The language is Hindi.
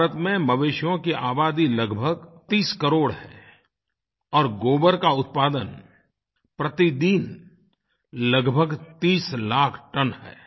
भारत में मवेशियों की आबादी लगभग 30 करोड़ है और गोबर का उत्पादन प्रतिदिन लगभग 30 लाख टन है